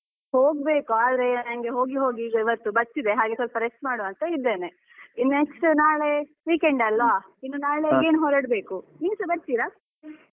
ಹೋಗ್ಬೇಕು ಆದ್ರೆ ನಂಗೆ ಹೋಗಿ ಹೋಗಿ ಈಗ ಇವತ್ತು ಬಚ್ಚಿದೆ ಹಾಗೆ ಸ್ವಲ್ಪ rest ಮಾಡುವ ಅಂತ ಇದ್ದೇನೆ. ಇನ್ next ನಾಳೆ weekend ಅಲ್ವಾ ಇನ್ನು ನಾಳೆ again ಹೊರಡ್ಬೇಕು, ನೀವುಸ ಬರ್ತೀರಾ?